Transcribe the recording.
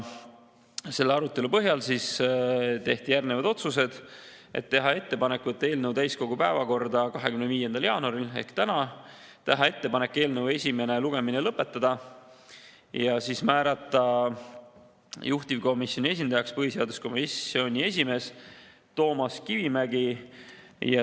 Selle arutelu põhjal tehti järgmised otsused: teha ettepanek võtta eelnõu täiskogu päevakorda 25. jaanuaril ehk täna ning teha ettepanek eelnõu esimene lugemine lõpetada ja määrata juhtivkomisjoni esindajaks põhiseaduskomisjoni esimees Toomas Kivimägi.